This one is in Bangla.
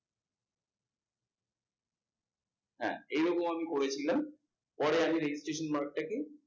হ্যাঁ। এরকম আমি করেছিলাম পরে আমি registration mark টা কে